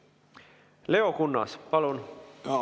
Leo Kunnas, palun!